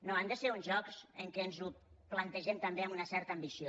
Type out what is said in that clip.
no han de ser uns jocs en què ens ho plantegem també amb una certa ambició